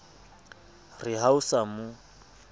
re ha o sa mo